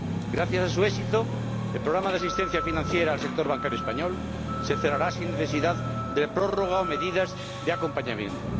Gracias a su éxito, el programa de asistencia financiera al sector bancario español se cerrará sin necesidad de prórroga o medidas de acompañamiento.